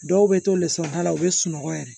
Dɔw bɛ to lɛsɔnda la u bɛ sunɔgɔ yɛrɛ